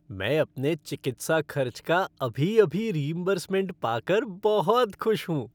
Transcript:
मैं अपने चिकित्सा खर्च का अभी अभी रीइंबर्समेंट पा कर बहुत खुश हूँ।